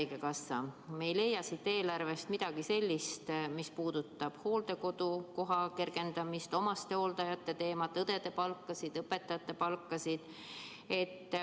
Me ei leia siit eelarvest midagi sellist, mis puudutab hooldekodukoha kergendamist, omastehooldajate teemat, õdede palkasid, õpetajate palkasid.